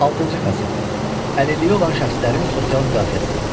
Altıncı fəsil: Əlilliyi olan şəxslərin sosial müdafiəsi.